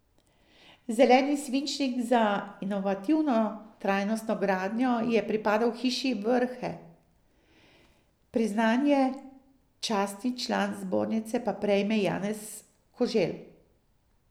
Zeleni svinčnik za inovativno trajnostno gradnjo je pripadel hiši Vrhe, priznanje častni član zbornice pa prejme Janez Koželj.